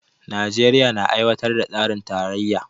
Najeriya na aiwatar da tsarin tarayya